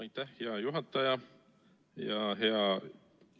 Aitäh, hea juhataja!